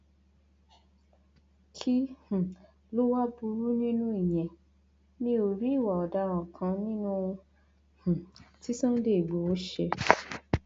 kí um ló wáá burú nínú ìyẹn mi ò rí ìwà ọdaràn kan nínú ohun um tí sunday igbodò ṣe